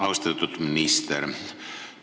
Austatud minister!